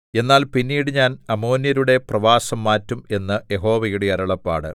എന്നാൽ പിന്നീട് ഞാൻ അമ്മോന്യരുടെ പ്രവാസം മാറ്റും എന്ന് യഹോവയുടെ അരുളപ്പാട്